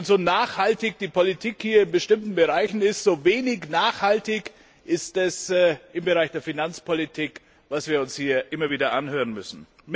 So nachhaltig die Politik hier in bestimmten Bereichen ist, so wenig nachhaltig ist im Bereich der Finanzpolitik das, was wir uns hier immer wieder anhören müssen.